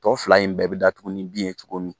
Tɔ fila in bɛɛ bɛ datugu ni bin ye cogo min